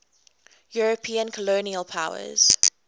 european colonial powers